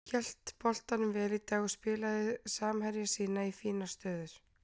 Hélt boltanum vel í dag og spilaði samherja sína í fínar stöður.